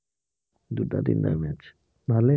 দুটা তিনিটা match ভালেই